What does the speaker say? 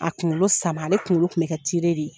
A kunkolo sama ale kunkolo kun bɛ kɛ de ye.